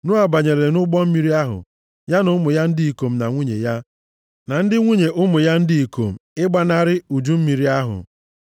Noa banyere nʼụgbọ mmiri ahụ, ya na ụmụ ya ndị ikom na nwunye ya, na ndị nwunye ụmụ ya ndị ikom ịgbanarị uju mmiri ahụ.